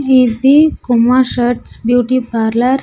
ఇది కుమ్మ shirts beauty parlour .